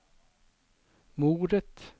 moret